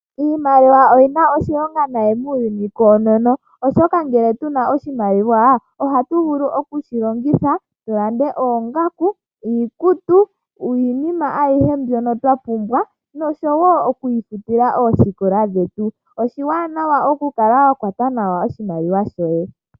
Iimaliwa oyi na oshilonga noonkondo muuyuni koonono, oshoka ngele twa kala tu na oshimaliwa ohatu vulu oku shi longitha tu lande oongaku, iikutu, iinima ayihe mbyoka twa pumbwa noshowo okwiifutila oosikola dhetu. Oshiwanawa okukala wa kwata nawa oshimaliwa shoye.